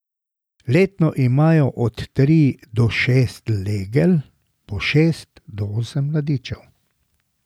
Letno imajo od tri do šest legel po šest do osem mladičev.